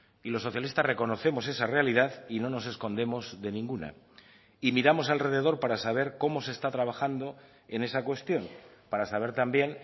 y los socialistas reconocemos esa realidad y no nos escondemos de ninguna y miramos alrededor para saber cómo se está trabajando en esa cuestión para saber también